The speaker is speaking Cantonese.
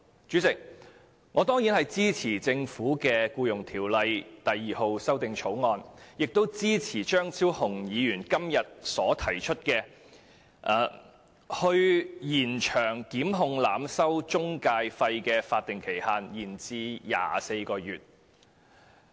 主席，我當然支持政府的《條例草案》，亦支持張超雄議員今天提出的修正案，將檢控濫收中介費的法定時效限制延長至24個月。